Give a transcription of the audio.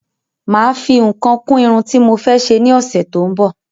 Máà fi nǹkan kún Irun tí mo fẹ́ ṣe ni ọsẹ tó ń bò